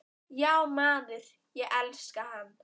Já maður, ég elska hann.